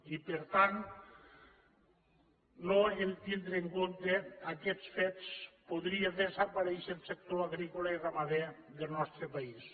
i per tant al no tindre en compte aquests fets podria desaparèixer el sector agrícola i ramader del nostre país